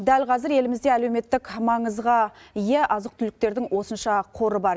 дәл қазір елімізде әлеуметтік маңызға ие азық түліктердің осынша қоры бар